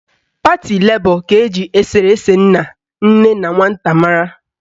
Pati Lebọ ka eji eserese nna, nne na nwata mara